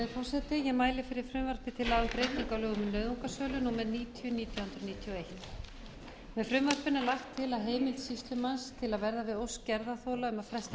nauðungarsölu númer níutíu nítján hundruð níutíu og eitt í frumvarpinu er lagt til að heimild sýslumanns til að verða við ósk gerðarþola um að fresta